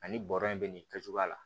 Ani bɔrɔ in bɛ nin kɛcogoya la